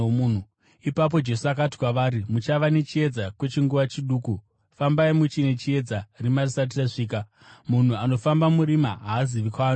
Ipapo Jesu akati kwavari, “Muchava nechiedza kwechinguva chiduku. Fambai muchine chiedza, rima risati rasvika. Munhu anofamba murima haazivi kwaanoenda.